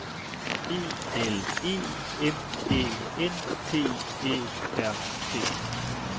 E L E M Æ N T Æ R T